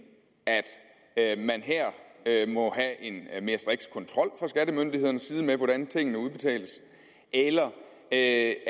at man her må have en mere striks kontrol fra skattemyndighedernes side med hvordan tingene udbetales eller at